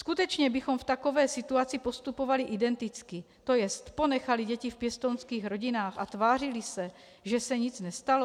Skutečně bychom v takové situaci postupovali identicky, to jest ponechali děti v pěstounských rodinách a tvářili se, že se nic nestalo?